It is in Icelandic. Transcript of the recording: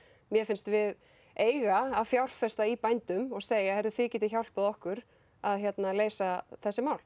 mér finnst við eiga að fjárfesta í bændum og segja þið getið hjálpað okkur að leysa þessi mál